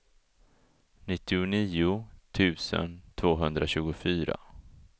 nittionio tusen tvåhundratjugofyra